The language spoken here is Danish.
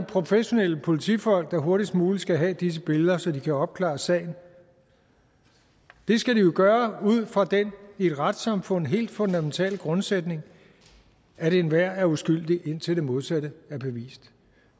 professionelle politifolk der hurtigst muligt skal have disse billeder så de kan opklare sagen det skal de jo gøre ud fra den i et retssamfund helt fundamentale grundsætning at enhver er uskyldig indtil det modsatte er bevist